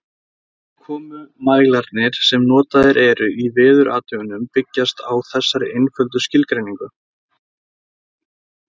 Úrkomumælarnir sem notaðir eru í veðurathugunum byggjast á þessari einföldu skilgreiningu.